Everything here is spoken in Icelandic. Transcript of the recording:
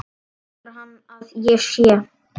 Heldur hann að ég sé.